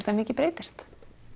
mikið breytist